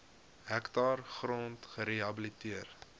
hektaar grond gerehabiliteer